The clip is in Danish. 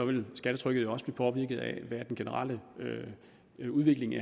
vil skattetrykket jo også blive påvirket af den generelle udvikling